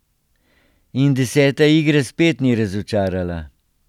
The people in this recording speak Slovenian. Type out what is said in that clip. In deseta igra spet ni razočarala.